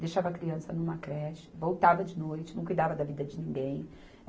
deixava a criança numa creche, voltava de noite, não cuidava da vida de ninguém.